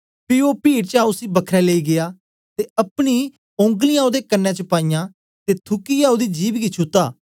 पी ओ पीड चा उसी बखरै लेई गीया ते अपनी ओगंलियाँ ओदे कन्ने च पाईयां ते थूकियै ओदी जिभ गी छूता